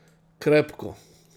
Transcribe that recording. Krepko.